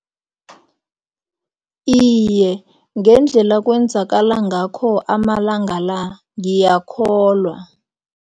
Iye, ngendlela kwenzakala ngakho amalanga la, ngiyakholwa.